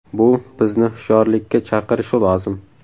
Bu bizni hushyorlikka chaqirishi lozim.